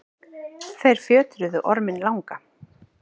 þeir fjötruðu orminn langa